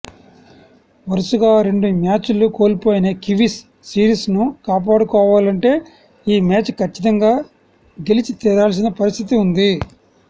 వరుసగా రెండు మ్యాచ్లు కోల్పోయిన కివీస్ సిరీస్ను కాపాడుకోవాలంటే ఈ మ్యాచ్ కచ్చితంగా గెలిచితీరాల్సిన పరిస్థితి ఉంది